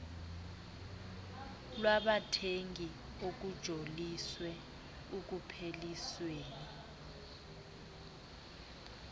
lwabathengi okujoliswe ekuphelisweni